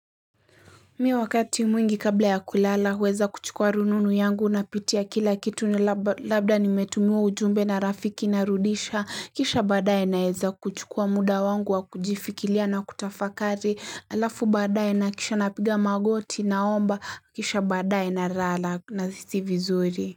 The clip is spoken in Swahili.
Mi wakati mwingi kabla ya kulala huweza kuchukua rununu yangu napitia kila kitu ni labda nimetumiwa ujumbe na rafiki narudisha kisha baadaye naeza kuchukua muda wangu wa kujifikilia na kutafakari alafu baadaye nahakikisha napiga magoti naomba kisha baadaye nalala nahisi vizuri.